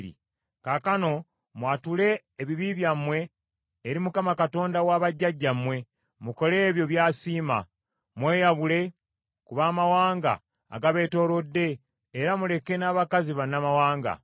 Kaakano mwatule ebibi byammwe eri Mukama Katonda wa bajjajjammwe, mukole ebyo by’asiima. Mweyawule ku mawanga agabeetoolodde era muleke n’abakazi bannamawanga.”